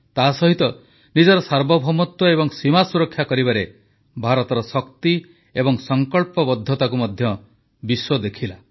ତାସହିତ ନିଜର ସାର୍ବଭୌମତ୍ୱ ଏବଂ ସୀମା ସୁରକ୍ଷା କରିବାରେ ଭାରତର ଶକ୍ତି ଏବଂ ସଂକଳ୍ପବଦ୍ଧତାକୁ ମଧ୍ୟ ବିଶ୍ୱ ଦେଖିଲା